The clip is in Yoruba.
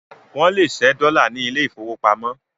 Wọ́n lè ṣẹ́ dọ́là ní ilé ìfowópamọ́